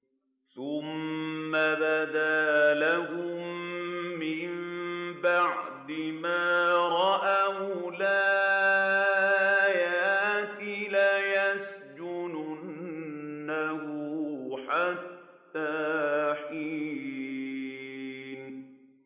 ثُمَّ بَدَا لَهُم مِّن بَعْدِ مَا رَأَوُا الْآيَاتِ لَيَسْجُنُنَّهُ حَتَّىٰ حِينٍ